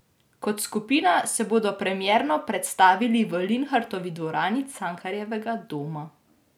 Kot skupina se bodo premierno predstavili v Linhartovi dvorani Cankarjevega doma.